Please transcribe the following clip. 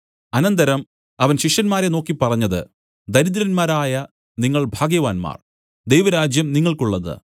അനന്തരം അവൻ ശിഷ്യന്മാരെ നോക്കി പറഞ്ഞത് ദരിദ്രന്മാരായ നിങ്ങൾ ഭാഗ്യവാന്മാർ ദൈവരാജ്യം നിങ്ങൾക്കുള്ളത്